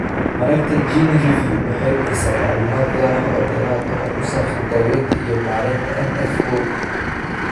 Mareegta GeneReview waxay bixisaa macluumaad gaar ah oo dheeraad ah oo ku saabsan daaweynta iyo maaraynta NF kow.